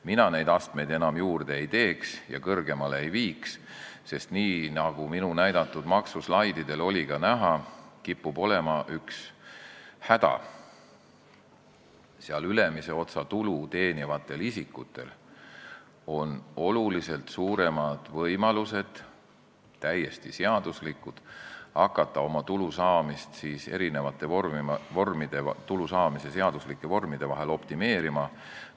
Mina neid astmeid enam juurde ei teeks ja kõrgemale ei viiks, sest nii, nagu minu näidatud slaididel oli ka näha, kipub olema üks häda: tulu teenivatel isikutel, kes kuuluvad ülemisse otsa, on oluliselt suuremad ja täiesti seaduslikud võimalused hakata tulu saamise seaduslikke vorme optimeerima.